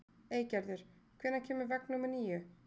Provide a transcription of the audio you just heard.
Eygerður, hvenær kemur vagn númer níu?